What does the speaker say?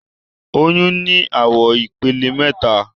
Oyun ni awọn ipele mẹta.